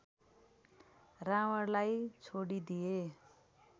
रावणलाई छोडिदिए